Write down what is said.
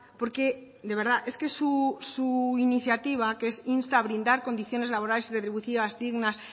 porque de verdad es que su iniciativa que es insta a brindar condiciones laborales y retributivas dignas